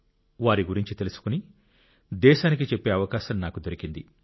వారి గురించి తెలుసుకుని దేశానికి చెప్పే అవకాశం నాకు దొరికింది